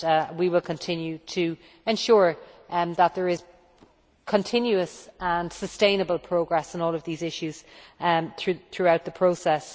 We will continue to ensure that there is continuous and sustainable progress on all of these issues throughout the process.